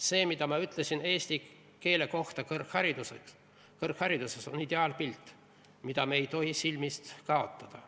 See, mida ma ütlesin eesti keele kohta kõrghariduses, on ideaalpilt, mida me ei tohi silmist kaotada.